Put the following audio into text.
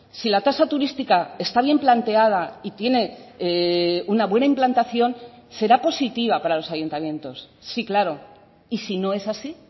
si la tasa turística está bien planteada y tiene una buena implantación será positiva para los ayuntamientos sí claro y si no es así